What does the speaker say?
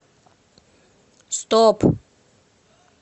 стоп